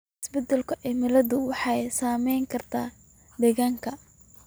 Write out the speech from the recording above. Isbeddelka cimiladu waxay saameyn kartaa deegaanka.